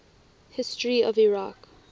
history of iraq